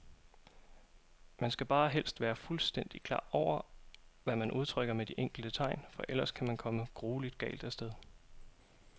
Man skal bare helst være fuldstændigt klar over, hvad man udtrykker med de enkelte tegn, for ellers kan man komme grueligt galt af sted.